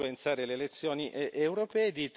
influenzare le elezioni europee.